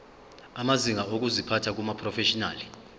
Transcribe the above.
amazinga okuziphatha kumaprofeshinali